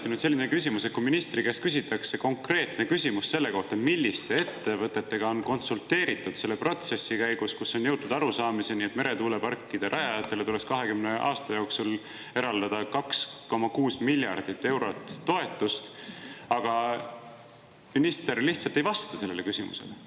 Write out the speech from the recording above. Minul on selline küsimus, et kui ministri käest küsitakse konkreetne küsimus selle kohta, milliste ettevõtetega on konsulteeritud selle protsessi käigus, kus on jõutud arusaamiseni, et meretuuleparkide rajajatele tuleks 20 aasta jooksul eraldada 2,6 miljardit eurot toetust, siis minister lihtsalt ei vasta sellele küsimusele.